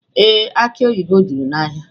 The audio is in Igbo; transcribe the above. Ee, aki oyibo juru n'ahịa.